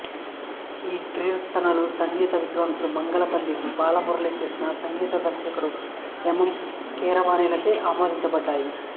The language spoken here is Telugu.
ఈ కీర్తనలు సంగీత విద్వాంసుడు మంగళంపల్లి బాలమురళీకృష్ణ సంగీత దర్శకుడు ఎం ఎం కీరవాణిలచే ఆమోదించబడ్డాయి